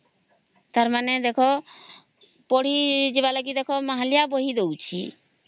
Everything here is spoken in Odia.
ତାର ମାନେ ଦେଖ ପଢି ଯିବା ଲାଗି ମାହାଳିଆ ବହି ଦଉଚି